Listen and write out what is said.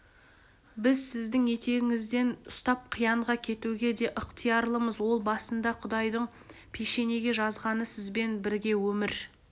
біз сіздің етегіңізден ұстап қиянға кетуге де ықтиярлымыз ол басында құдайдың пешенеге жазғаны сізбен бірге өмір